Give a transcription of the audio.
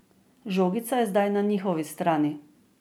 Žogica je zdaj na njihovi strani.